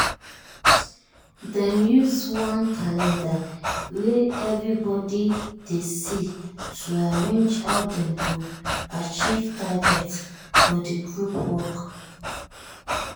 dem use one calendar wey everybody dey see to arrange how dem go achieve target for the group work.